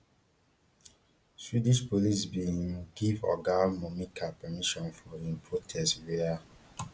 swedish police bin um give oga momika permission for im protest wia